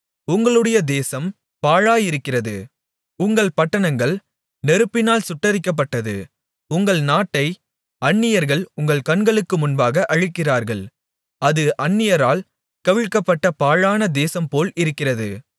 உங்களுடைய தேசம் பாழாயிருக்கிறது உங்கள் பட்டணங்கள் நெருப்பினால் சுட்டெரிக்கப்பட்டது உங்கள் நாட்டை அந்நியர்கள் உங்கள் கண்களுக்கு முன்பாக அழிக்கிறார்கள் அது அந்நியரால் கவிழ்க்கப்பட்ட பாழான தேசம்போல் இருக்கிறது